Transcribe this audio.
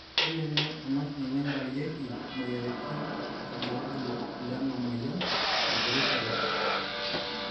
kelimu emashini naingurarieki imoyiaritin irbulabol lena moyian e peripheral